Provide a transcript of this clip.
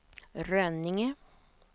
Rönninge